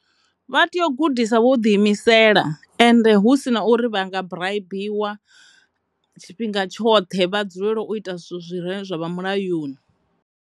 Vha tea u gudisa vho ḓi imisela ende hu si na uri vha nga buraibiwa tshifhinga tshoṱhe vha dzulele u ita zwine zwi ne zwa vha mulayoni.